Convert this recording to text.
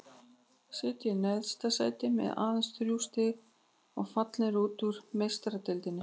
Sitja í neðsta sæti með aðeins þrjú stig og fallnir út úr Meistaradeildinni.